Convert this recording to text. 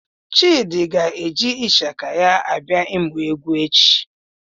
Chidi ga-eji Ịshaka ya abịa ịmụ egwu echi.